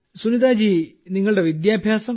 സുനിതാ ജി നിങ്ങളുടെ വിദ്യാഭ്യാസം